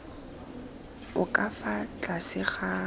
o ka fa tlase ga